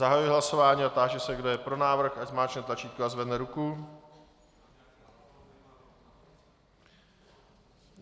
Zahajuji hlasování a táži se, kdo je pro návrh, ať zmáčkne tlačítko a zvedne ruku.